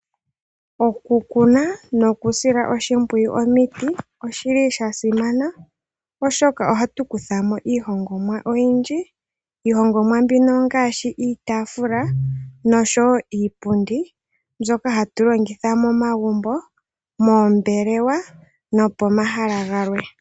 Okukuna nokusila oshimpwuyu omiti oshili shasimana oshoka ohatu kuthamo iihongomwa oyindji. Iihongomwa mbino ngaashi iitaafula nosho wo iipundi mbyoka hatu longitha momagumbo, moombelewa nopomahala galwe.